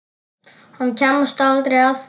Hann kemst aldrei að því.